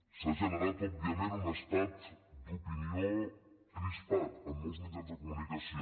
s’ha generat òbviament un estat d’opinió crispat en molts mitjans de comunicació